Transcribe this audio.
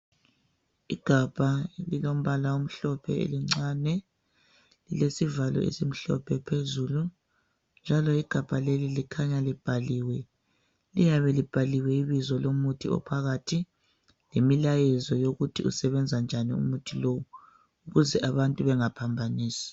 Igabha elilombala omhlophe elincane. Lilesivalo esimhlophe phezulu njalo igabha leli likhanya libhaliwe. Liyabe libhaliwe ibizo lomuthi ophakathi lemilayezo yokuthi usebenza njani umuthi lo ukuze abantu bengaphambanisi.